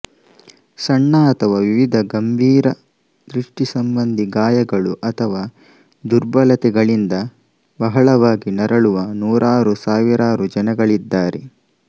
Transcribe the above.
ಸಣ್ಣ ಅಥವಾ ವಿವಿಧ ಗಂಭೀರ ದೃಷ್ಟಿಸಂಬಂಧಿ ಗಾಯಗಳು ಅಥವಾ ದುರ್ಬಲತೆಗಳಿಂದ ಬಹಳವಾಗಿ ನರಳುವ ನೂರಾರು ಸಾವಿರಾರು ಜನಗಳಿದ್ದಾರೆ